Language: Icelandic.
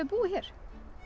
búið hér